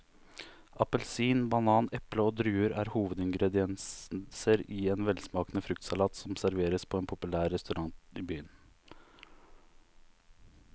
Appelsin, banan, eple og druer er hovedingredienser i en velsmakende fruktsalat som serveres på en populær restaurant i byen.